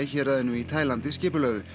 héraðinu í Taílandi